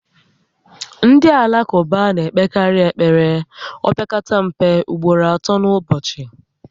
Ndị Alakụba na-ekpekarị ekpere opekata mpe ugboro atọ n'ụbọchị